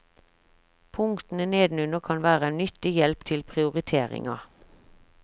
Punktene nedenunder kan være en nyttig hjelp til prioriteringa.